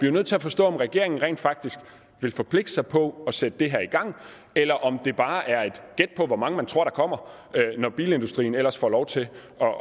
jo nødt til at forstå om regeringen rent faktisk vil forpligte sig på at sætte det her i gang eller om det bare er et gæt på hvor mange man tror der kommer når bilindustrien ellers får lov til